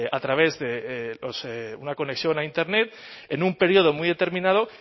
a través de una conexión a internet en un periodo muy determinado